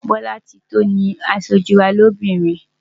Bolatito ni aṣojú wa lóbìnrin.